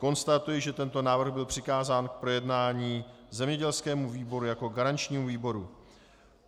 Konstatuji, že tento návrh byl přikázán k projednání zemědělskému výboru jako garančnímu výboru.